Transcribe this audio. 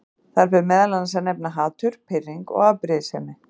Þar ber meðal annars að nefna hatur, pirring og afbrýðisemi.